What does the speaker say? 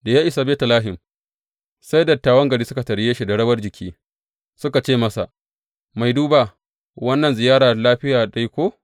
Da ya isa Betlehem, sai dattawan garin suka tarye shi da rawar jiki, suka ce masa, Mai duba, wannan ziyara lafiya dai ko?